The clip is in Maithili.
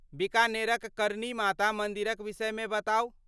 बीकानेरक करनी माता मन्दिरक विषयमे बताउ।